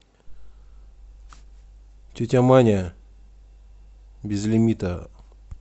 тетя маня без лимита